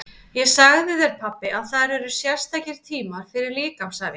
Ég sagði þér pabbi að þar eru sérstakir tímar fyrir líkamsæfingar.